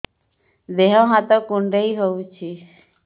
ଦେହ ହାତ କୁଣ୍ଡାଇ ହଉଛି